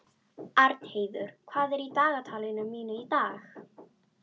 Arnheiður, hvað er í dagatalinu mínu í dag?